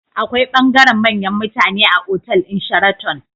Akwai bangaren manyan mutane a otal ɗin sharaton